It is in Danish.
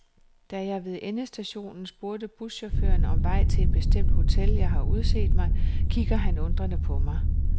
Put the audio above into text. Da jeg ved endestationen spørger buschaufføren om vej til et bestemt hotel, jeg har udset mig, kigger han undrende på mig.